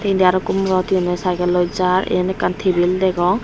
indi arokko morot he honney cyclloi jar yan ekkan tabil degong.